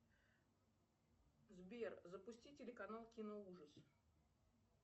сбер запусти телеканал киноужас